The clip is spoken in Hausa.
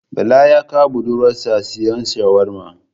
Bala ya kai budurwar sa siyan shawarma